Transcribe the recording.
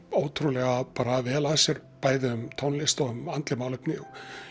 ótrúlega vel að sér bæði um tónlist og um andleg málefni